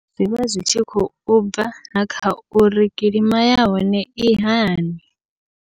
Zwivha zwi tshi khou bva na kha uri kilima yahone i hani.